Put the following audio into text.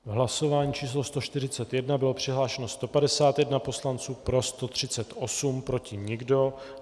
V hlasování číslo 141 bylo přihlášeno 151 poslanců, pro 138, proti nikdo.